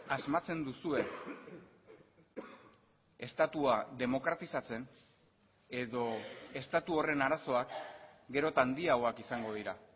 asmatzen duzue estatua demokratizatzen edo estatu horren arazoak gero eta handiagoak izango dira